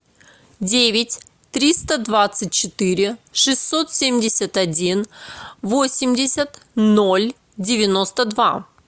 девять триста двадцать четыре шестьсот семьдесят один восемьдесят ноль девяносто два